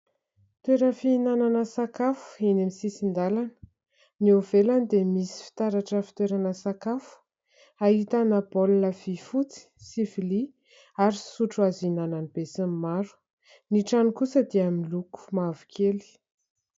Toeram-pihinanana sakafo eny amin'ny sisin-dalana. Ny eo ivelany dia misy fitaratra fitoerana sakafo, ahitana baolina vy fotsy sy vilia ary sotro, azo ihinanan'ny be sy ny maro. Ny trano kosa dia miloko mavokely.